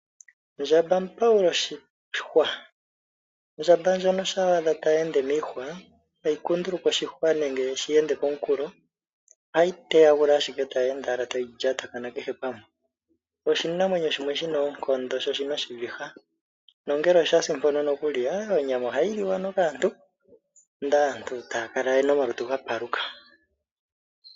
Ndjamba mupawul' oshihwa. Ondjamba shampa wa adha tayi ende miihwa ihayi kunduluka oshihwa nenge yi shi ende pooha, ohayi teyagula owala tayi ende tayi lyatakana kehe pamwe. Oshinamwenyo shimwe shi na oonkondo sho oshi na oshiviha. Nongele osha si mpono onyama ohayi liwa kaantu ndele taya kala ye na omalutu ga paluka.